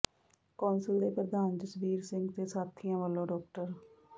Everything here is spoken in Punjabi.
ਕੌਂਸਲ ਦੇ ਪ੍ਰਧਾਨ ਜਸਬੀਰ ਸਿੰਘ ਤੇ ਸਾਥੀਆਂ ਵੱਲੋਂ ਡਾ